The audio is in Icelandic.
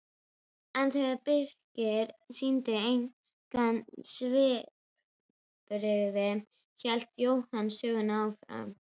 En þegar Birkir sýndi engin svipbrigði hélt Jóhann sögunni áfram